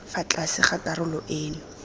fa tlase ga karolo eno